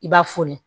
I b'a foni